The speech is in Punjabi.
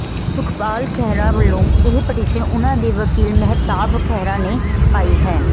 ਸੁਖਪਾਲ ਖਹਿਰਾ ਵੱਲੋਂ ਇਹ ਪਟੀਸ਼ਨ ਉਹਨਾਂ ਦੇ ਵਕੀਲ ਮਹਿਤਾਬ ਖਹਿਰਾ ਨੇ ਪਾਈ ਹੈ